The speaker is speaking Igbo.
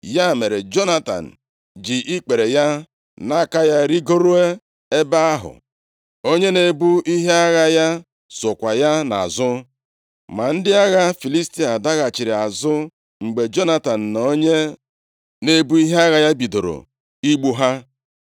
Ya mere, Jonatan ji ikpere ya na aka ya rigoruo nʼebe ahụ; onye na-ebu ihe agha ya sokwa ya nʼazụ. Ma ndị agha Filistia daghachiri azụ mgbe Jonatan na onye na-ebu ihe agha ya bidoro igbu ha.